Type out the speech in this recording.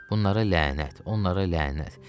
Bunlara lənət, onlara lənət.